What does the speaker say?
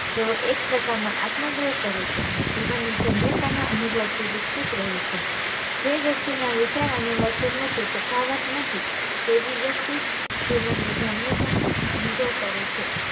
તેઓ એક પ્રકાર નો આત્મ ધોર્હ કરે છે અને જીવન ના ધન્યતા ના અનુભવ થી વિકસિત રહે છે જે વ્યક્તિ ના વિચાર અને વર્તન ના વચ્ચે તફાફ્ત નથી તેવી વ્યક્તિ જ જીવન ની ધન્યતા નો અનુભવ કરે છે